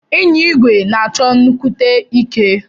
Inya igwe na achọ nnukwute ike.